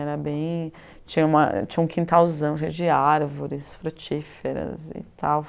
Era bem... Tinha uma um quintalzão cheio de árvores, frutíferas e tal.